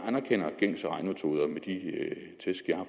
anerkender gængse regnemetoder med de tæsk jeg har